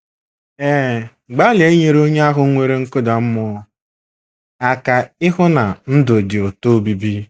Ee, gbalịa inyere onye ahụ nwere nkụda mmụọ aka ịhụ na ndụ dị ụtọ obibi.